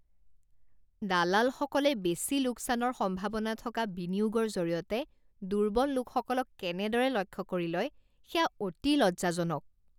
দালালসকলে বেচি লোকচানৰ সম্ভাৱনা থকা বিনিয়োগৰ জৰিয়তে দুৰ্বল লোকসকলক কেনেদৰে লক্ষ্য কৰি লয় সেয়া অতি লজ্জাজনক।